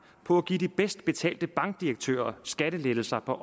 på at give de bedst betalte bankdirektører skattelettelser på